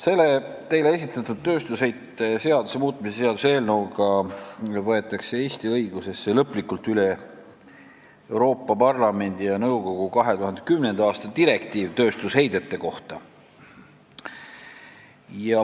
Selle teile esitatud tööstusheite seaduse muutmise seaduse eelnõuga võetakse Eesti õigusesse lõplikult üle Euroopa Parlamendi ja nõukogu 2010. aasta direktiiv tööstusheidete kohta.